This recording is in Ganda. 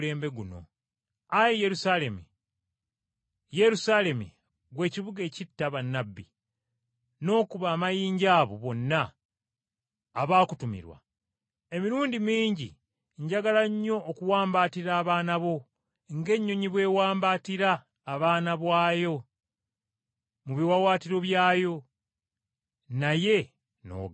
“Ggwe Yerusaalemi, ggwe Yerusaalemi atta bannabbi, n’okuba amayinja abo ababa batumiddwa gy’oli, emirundi nga mingi nnyo gye njagadde okukuŋŋaanya abaana bo ng’enkoko bw’ekuŋŋaanya obwana bwayo mu biwaawaatiro byayo, naye n’ogaana.